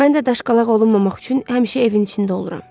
Mən də daşqalaq olunmamaq üçün həmişə evin içində oluram.